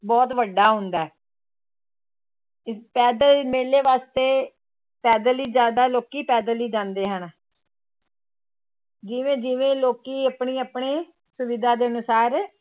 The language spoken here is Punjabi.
ਬਹੁਤ ਵੱਡਾ ਹੁੰਦਾ ਹੈ ਪੈਦਲ ਮੇਲੇ ਵਾਸਤੇ ਪੈਦਲ ਹੀ ਜ਼ਿਆਦਾ ਲੋਕੀ ਪੈਦਲ ਹੀ ਜਾਂਦੇ ਹਨ ਜਿਵੇਂ ਜਿਵੇਂ ਲੋਕੀ ਆਪਣੇ ਆਪਣੇ ਸੁਵਿਧਾ ਦੇ ਅਨੁਸਾਰ